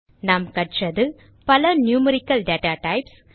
நாம் கற்றது பல நியூமெரிக்கல் டேட்டாடைப்ஸ்